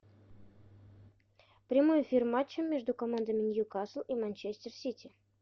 прямой эфир матча между командами ньюкасл и манчестер сити